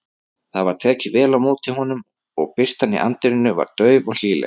Það var tekið vel á móti honum og birtan í anddyrinu var dauf og hlýleg.